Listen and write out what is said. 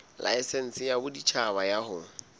laesense ya boditjhaba ya ho